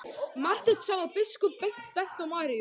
Marteinn sá að biskup benti á Maríu.